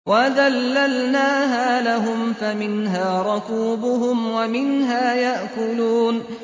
وَذَلَّلْنَاهَا لَهُمْ فَمِنْهَا رَكُوبُهُمْ وَمِنْهَا يَأْكُلُونَ